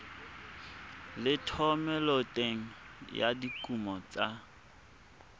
le thomeloteng ya dikuno tsa